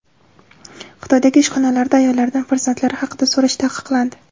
Xitoydagi ishxonalarda ayollardan farzandlari haqida so‘rash taqiqlandi.